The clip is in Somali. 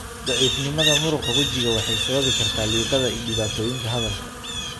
Daciifnimada muruqa wajiga waxay sababi kartaa liqidda iyo dhibaatooyinka hadalka.